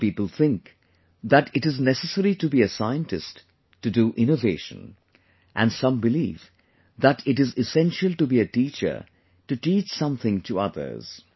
some people think that it is necessary to be a scientist to do innovation and some believe that it is essential to be a teacher to teach something to others